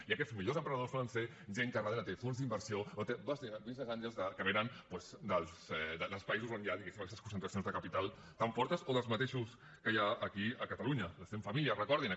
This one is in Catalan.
i aquests millors emprenedors solen ser gent que darrere té fons d’inversió o té business angels que venen doncs dels països on hi ha diguéssim aquestes concentracions de capital tan fortes o dels mateixos que hi ha aquí a catalunya les cent famílies recordin ho